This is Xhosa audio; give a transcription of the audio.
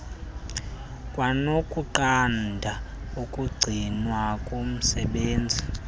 kwanokunqanda ukugcinwa komsebenzi